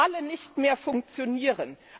alle nicht mehr funktionieren.